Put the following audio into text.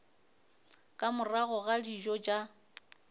ka morago ga dijo tša